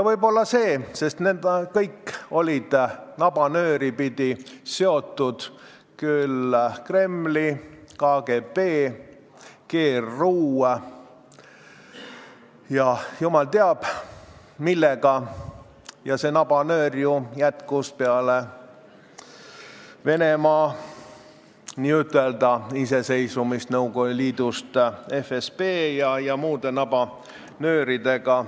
Võib-olla see on põhjus, sest nad kõik olid nabanööri pidi seotud Kremli, KGB, GRU ja jumal teab millega ning see nabanöör jätkus ju peale Venemaa n-ö iseseisvumist Nõukogude Liidust FSB ja muude nabanööridega.